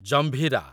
Jambhira